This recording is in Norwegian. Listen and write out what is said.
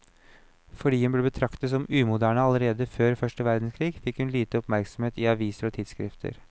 Fordi hun ble betraktet som umoderne allerede før første verdenskrig, fikk hun lite oppmerksomhet i aviser og tidsskrifter.